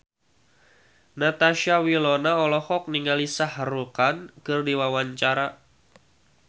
Natasha Wilona olohok ningali Shah Rukh Khan keur diwawancara